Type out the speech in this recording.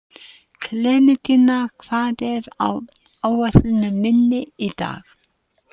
Klementína, hvað er á áætluninni minni í dag?